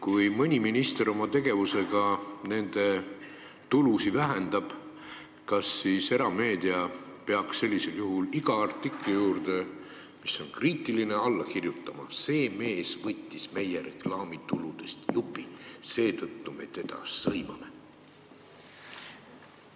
Kui mõni minister oma tegevusega nende ettevõtete tulusid vähendab, kas siis erameedia peaks iga kriitilise artikli alla kirjutama, et see mees võttis meie reklaamituludest jupi, seetõttu me teda sõimame?